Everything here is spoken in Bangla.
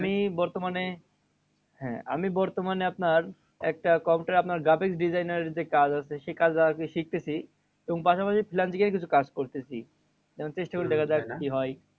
আমি বর্তমানে হ্যাঁ আমি বর্তমানে আপনার একটা computer এ আপনার graphic design এর যে কাজ আছে সেই কাজ আরকি শিখতেছি। এবং পাশাপাশি কিছু freelancing এর কিছু কাজ করতেছি। এবার চেষ্টা করে দেখা যাক কি হয়?